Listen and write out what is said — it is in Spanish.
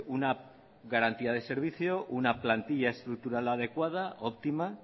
una garantía del servicio una plantilla estructural adecuada óptima